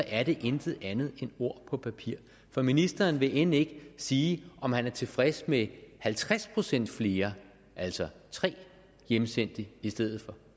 er det intet andet end ord på papir for ministeren vil end ikke sige om han er tilfreds med halvtreds procent flere altså tre hjemsendte i stedet for